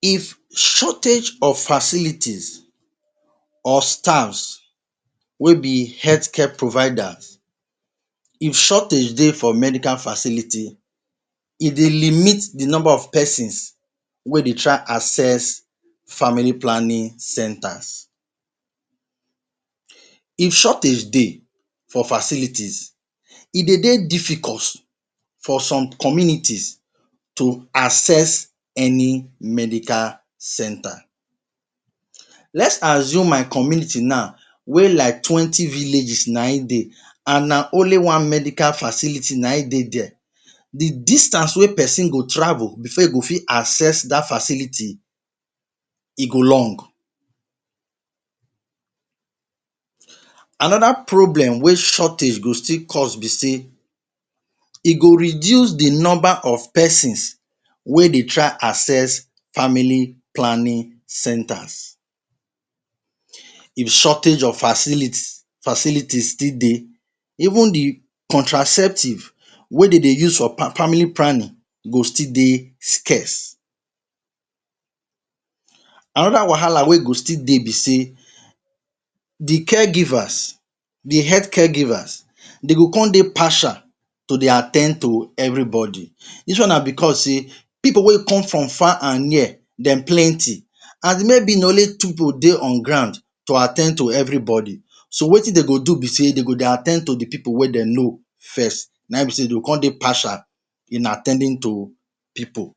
If shortage of facilities or staffs wey be healthcare providers, if shortage de for medical facility, e de limit di nomba of pesins wey dey try access family planning centers. If shortage de for facilities, e de de difficult for some communities to access any medical center. Let’s assume my community now wey like twenty villages na im de, and na only one medical facility na im de there, di distance wey pesin go travel before e go fit access dat facility, e go long. Another problem wey shortage go still cause be sey e go reduce di nomba of pesins wey dey try access family planning centers, di shortage of facility-, facility still de. Even di contraceptive wey de de use for family planning go still de scarce. Another wahala wey go still de be sey di caregivers, di healthcare givers, de go con de partial to de at ten d to everybody. Dis one na becos sey pipu wey come from far and near dem plenty, and maybe na only two pipu de on ground to at ten d to everybody. So wetin de go do be sey de go at ten d to di pipu wey dem know first, na im be sey dem go con de partial in at ten ding to pipu.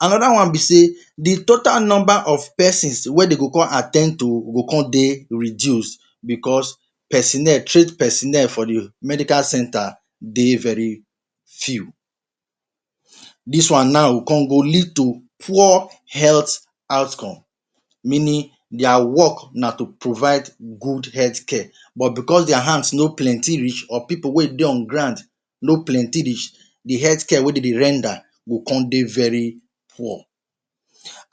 Another one be sey di total nomba of pesins wey dem go con at ten d to go con de reduced becos personnel, trained personnel for di medical center de very few. Dis one now go con go lead to poor health outcome, meaning their work na to provide good healthcare but becos their hands no plenti reach, or pipu wey de on ground no plenti reach, di healthcare wey de de render go con de very poor.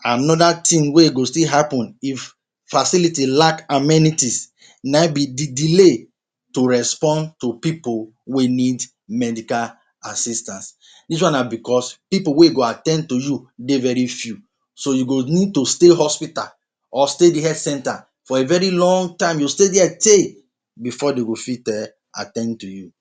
Another tin wey go still happen if facility lack amenities na im be di delay to respond to pipu wey need medical assistance. Dis one na becos pipu wey go at ten d to you de very few, so you go need to stay hospital or stay health center for a very loong time, you stay there tey before de go fit um at ten d to you.